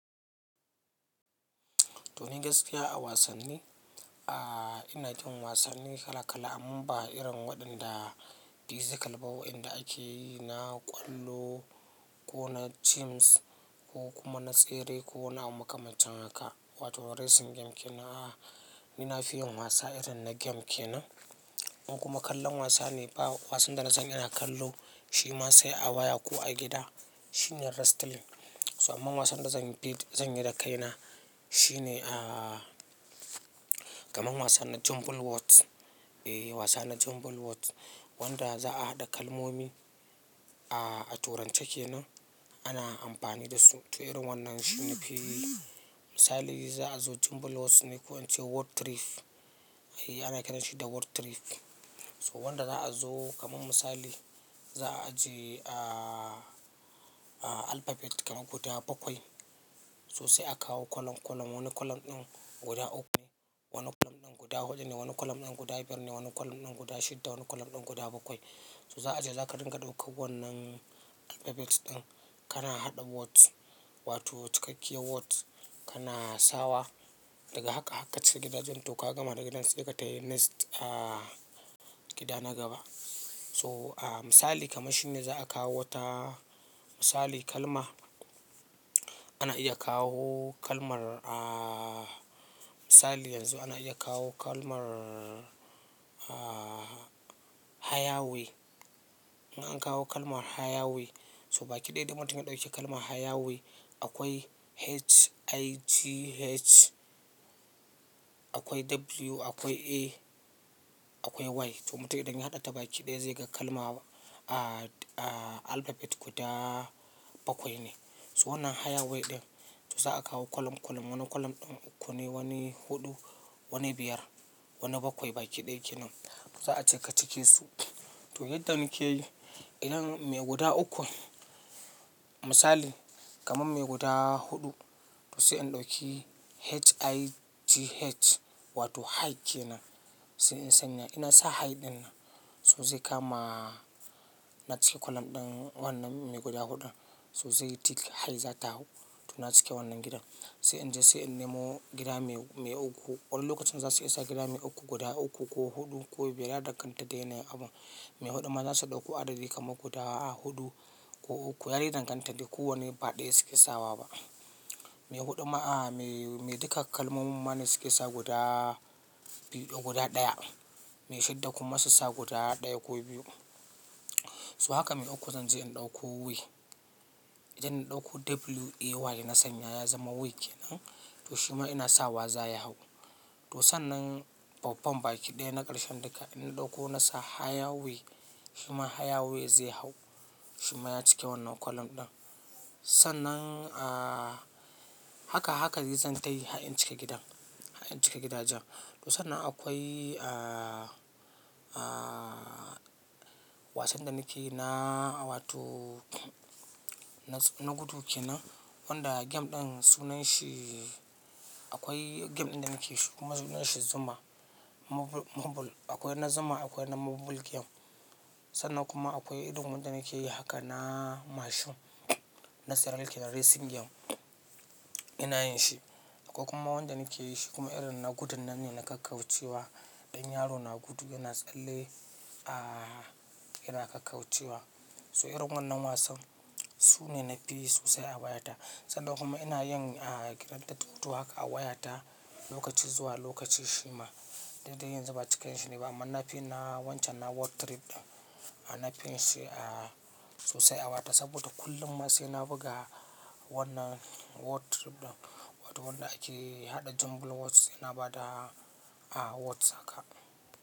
To ni gaskiya a wasanni, ah ina jin wasanni kala kala amma ba irin waɗanda physica ba, waɗanda ake yi na ƙwallo ko na gyms ko kuma na tsere ko na makamaci haka wato racing game kenan. Ah ni nafi yin wasa irin na game kenan. In kuma kallon wasa ne ba wasan da na sani ina kallo shi ma sai a waya ko a gida shine wrestling. So amma wasan da zan yi da kaina shine ah kamar wasan jumble words. E wasa na jumble words wanda za a haɗa kalmomi ah a turanci kenan. Ana amfani da su, to irin wannan shi ne fil. Misali za a zo jumble words ne ko an ce word trip. Eh ana kiranshi shi da word trip. So wanda za a zo kamar misali za a je a alphabet kamar guda bakwai. So sai a kawo kolum kolum. Wani kolum ɗin guda uku, wani kolum ɗin guda huɗu ne, wani kolum ɗin guda biyar ne, wani kolum ɗin guda shidda, wani kolum ɗin guda bakwai. So za a je za ka ringa ɗauko wannan alphabets ɗin kana haɗa words wato cikakkiyar words kana sawa daga haka haka cike gidajen to ka gama da gidan sai ka tafi next a gida na gaba. So misali kamar shine za a kawo wata misali kalma ana iya kawo kalmar ah misali yanzu ana iya kawo kalmar ah higherway. In an kawo kalmar higher way so baki ɗaya idan mutum ya ɗauki kalmar higher way akwai H I G H akwai W akwai A akwai Y. To matum idan ya haɗa ta baki ɗaya zai ga kalma a alphabet guda bakwai ne. So wannan higher way ɗin to za a kawo kolum kolum. Wani kolum ɗin uku ne, wani huɗu, wani biyar, wani bakwai baki ɗaya kenan. Za a cika cike su. To yadda nake yi idan mai guda uku misali kamar mai guda huɗu to sai in ɗauki H I G H wato high kenan. Sai in sanya ina sa high ɗin nan so zai kama na cike kolum ɗin wannan mai guda huɗun. So zai tick high za ta hau to na cike wannan gidan. Sai in je sai in nemo gida mai uku. Wani lokacin za su isa gida mai uku guda uku ko huɗu ko biyar. Ya danganta dai yanayin abu. Mai huɗu ma za su ɗauko adadi kamar guda a huɗu ko uku. Yadai danganta dai kowane ba ɗaya suke sawa ba. Mai huɗu ma a mai duka kalmomin mane suke sa guda biyu ko guda ɗaya. Mai shidda kuma su sa guda ɗaya ko biyu. So haka mai uku zan je in ɗauko way. Idan in ɗauko W A Y na sanya ya zama way kenan to shi ma ina sawa za ya hau. To sannan babban baki ɗaya na ƙarshen duka ina ɗauko nasa higher way. Shi ma higher way zai hau. Shi ma ya cike wannan kolum ɗin. Sannan a haka haka dai zan tayi har in cika gidan har in cika gidajen. To sannan akwai a wasan da nake na wato na gudu kenan wanda game ɗin sunanshi akwai game ɗin da nake shi kuma sunanshi Zuma mobile. Akwai na Zuma akwai na mobile game. Sannan kuma akwai irin wanda nake yi haka na mashin na serial kenan racing game ina yin shi. Akwai kuma wanda nake yi shi kuma irin na gudun nan ne na kakkaucewa. Ɗan yaro na gudu yana tsalle a yana kakkaucewa. So irin wannan wasan su ne na fi yi sosai a wayata. Sannan kuma ina yin a grand theft autho haka a wayata lokaci zuwa lokaci shi ma. Dan dai yanzu ba cika yin shi nayi ba amma nafiyin na wancan na word trip ɗin. Ana fiyanshi a sosai a wayata saboda kullum ma sai na buga wannan word trip ɗin wato wanda ake haɗa jumble words sai na bada a words haka.